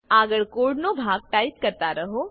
આગળ કોડનો ભાગ ટાઈપ કરતા રહો